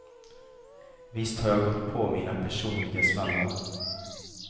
Visst har jag gått på mina personliga smällar.